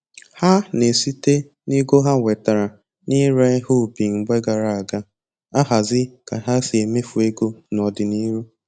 Ha na-esite n'ego ha nwetara na-ire ihe ubi mgbe gara aga, ahazi ka ha si emefu ego n'ọdịniru